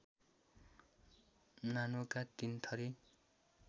नानोका तीनथरी